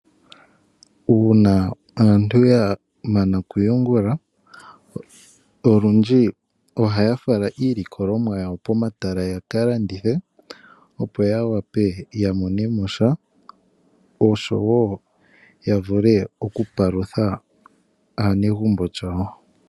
Uuna aantu ya mana okuyungula, olundji ohaya fala iilikolomwa yawo komatala ya ka landithe opo ya mone mo sha osho wo ya vule okupalutha aanegumbo yawo.